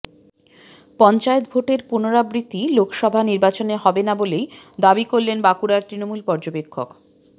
পঞ্চায়েত ভোটের পুনরাবৃত্তি লোকসভা নির্বাচনে হবে না বলেই দাবি করলেন বাঁকুড়ার তৃণমূল পর্যবেক্ষক